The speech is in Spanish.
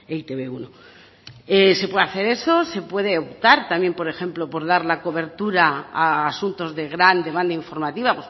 es e te be uno se puede hacer eso se puede optar también por ejemplo por dar la cobertura a asuntos de gran demanda informativa